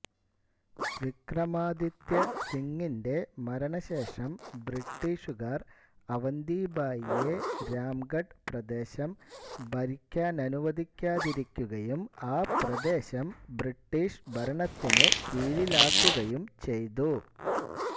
വിക്രമാദിത്യ സിങിന്റെ മരണ ശേഷം ബ്രിട്ടീഷുകാർ അവന്തിഭായിയെ രാംഗഡ് പ്രദേശം ഭരിക്കാനനുവദിക്കാതിരിക്കുകയും ആ പ്രദേശം ബ്രിട്ടീഷ് ഭരണത്തിനു കീഴിലാക്കുകയും ചെയ്തു